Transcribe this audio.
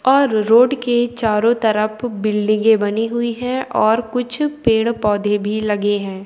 और रोड के चारों तरफ बिल्डिंगे बनी हुई है और कुछ पेड़ - पौधे भी लगे हैं।